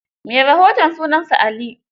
Mai rahoton sunansa Ali